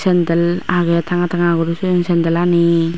sandal agey tanga tanga guri toyon sandal aani.